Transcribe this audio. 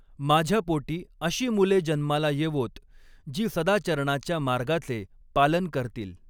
माझ्या पोटी अशी मुले जन्माला येवोत, जी सदाचरणाच्या मार्गाचे पालन करतील!